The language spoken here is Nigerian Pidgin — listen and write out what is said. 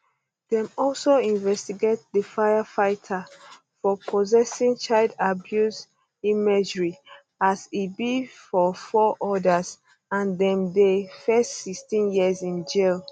dem also investigate di firefighter for possessing child abuse imagery as e be for four odas and dem dey face 16 years in jail